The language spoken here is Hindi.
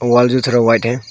वॉल जो सारा व्हाइट है।